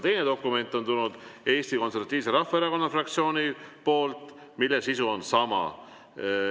Teine dokument on tulnud Eesti Konservatiivse Rahvaerakonna fraktsioonilt, selle sisu on sama.